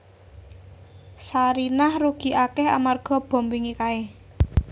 Sarinah rugi akeh amarga bom wingi kae